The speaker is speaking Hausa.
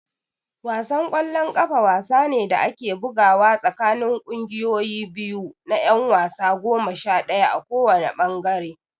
Wasan ƙwallon ƙafa wasa ne da ake bugawa tsakanin ƙungiyoyi biyu na ƴan wasa goma sha ɗaya a kowanne ɓangare.